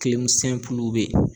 be yen.